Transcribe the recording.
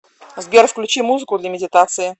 сбер включи музыку для медитации